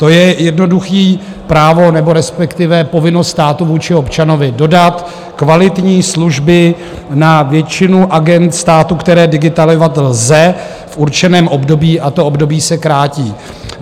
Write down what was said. To je jednoduché právo nebo respektive povinnost státu vůči občanovi dodat kvalitní služby na většinu agend státu, které digitalizovat lze v určeném období, a to období se krátí.